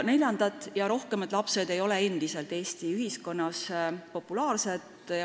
Neljandad ja järgmised lapsed ei ole endiselt Eesti ühiskonnas populaarsed.